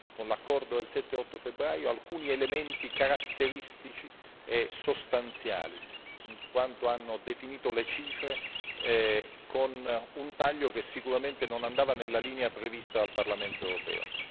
con l'accordo del 7 e 8 febbraio, alcuni elementi caratteristici e sostanziali, in quanto hanno stabilito le cifre con un taglio che sicuramente non andava nella linea prevista dal Parlamento europeo.